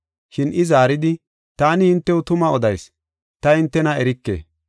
“Shin I zaaridi, ‘Taani hintew tuma odayis; ta hintena erike!’